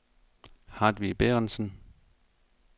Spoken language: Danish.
Hartvig Bærentsen